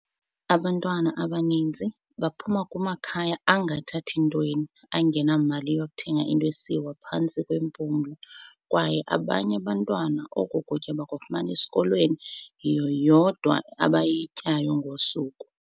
"Abantwana abaninzi baphuma kumakhaya angathathi ntweni, angenamali yokuthenga into esiwa phantsi kwempumlo, kwaye abanye abantwana oku kutya bakufumana esikolweni, yiyo yodwa abayityayo ngosuku."